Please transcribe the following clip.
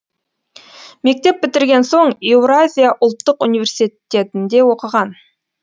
мектеп бітірген соң еуразия ұлттық университетінде оқыған